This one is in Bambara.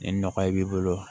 Ni nɔgɔ b'i bolo